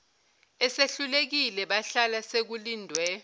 esehlulekile bahlala sekulindwe